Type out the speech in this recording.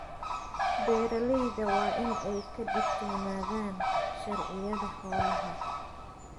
Beeralayda waa in ay ka digtoonaadaan sharciyada xoolaha.